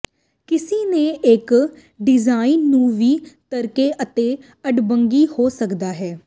ਕਿਸੇ ਨੇ ਇੱਕ ਡਿਜ਼ਾਇਨ ਨੂੰ ਵੀ ਤਰਦੇ ਅਤੇ ਅਡੰਬਰੀ ਹੋ ਸਕਦਾ ਹੈ